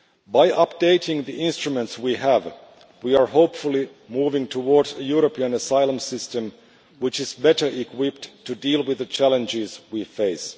By updating the instruments we have, we are, we hope, moving towards a European asylum system which is better equipped to deal with the challenges we face.